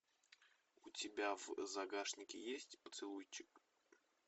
у тебя в загашнике есть поцелуйчик